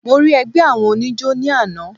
Mo rí ẹgbẹ́ àwọn oníjó ní àná.